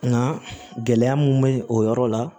Nka gɛlɛya mun bɛ o yɔrɔ la